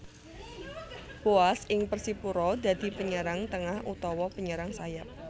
Boaz ing Persipura dadi penyerang tengah utawa penyerang sayap